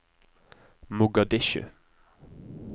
Mogadishu